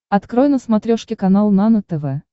открой на смотрешке канал нано тв